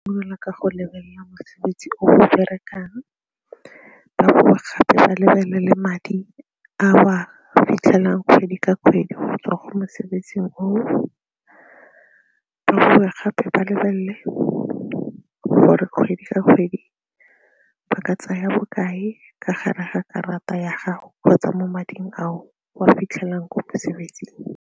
ka go lebelela mosebetsi o o berekang, ba bowe gape ba lebelele madi a o a fitlhelang kgwedi ka kgwedi go tswa ko mosebetsing oo, ba bowe gape ba lebelele gore kgwedi ka kgwedi ba ka tsaya bokae ka gare ga karata ya gago kgotsa mo mading a o a fitlhelang ko mosebetsing.